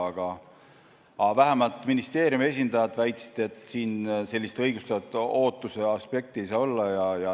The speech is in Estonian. Aga vähemalt ministeeriumi esindajad väitsid, et siin ei saa sellist õigustatud ootuse aspekti olla.